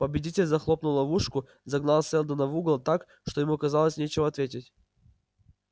победитель захлопнул ловушку загнал сэлдона в угол так что ему казалось нечего ответить